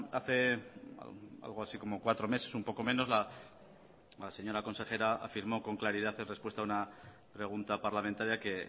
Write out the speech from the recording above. hace algo así como cuatro meses un poco menos la señora consejera afirmó con claridad en respuesta a una pregunta parlamentaria que